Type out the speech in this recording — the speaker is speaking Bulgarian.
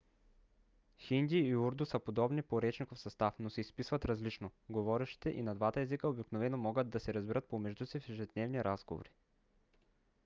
хинди и урду са подобни по речников състав но се изписват различно; говорещите и на двата езика обикновено могат да се разбират помежду си в ежедневни разговори